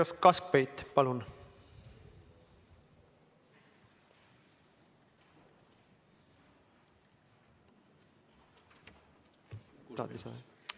Uno Kaskpeit, palun!